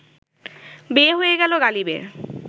বিয়ে হয়ে গেল গালিবের